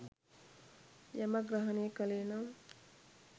යමක් ග්‍රහණය කළේ නම්